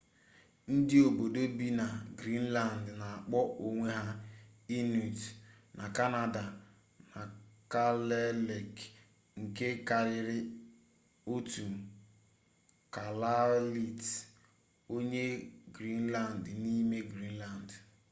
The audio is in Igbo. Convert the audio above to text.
ndị obodo bi na greenland na-akpọ onwe ha inuit na kanada na kalaalleq nke karịrị otu kalaallit onye greenland n’ime greenland